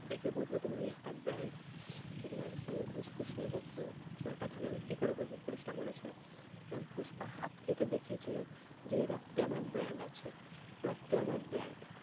দেখে বোঝো তুমি কি একটা brand যে তোমার কাছ থেকে আমি ঘুষ ফুস নেব? হম তুমি একটা ভালো লোক কি করে বলবো পুলিশটা বলেছিলো। পুষ্পা হাত কেটে দেখিয়েছিল যে রক্তে আমার brand আছে রক্তই আমার brand